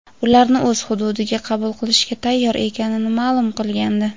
ularni o‘z hududiga qabul qilishga tayyor ekanini ma’lum qilgandi.